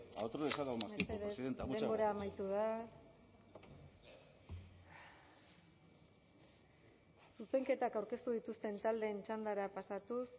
a otros les ha dado más tiempo presidenta muchas gracias mesedez denbora amaitu da zuzenketak aurkeztu dituzten taldeen txandara pasatuz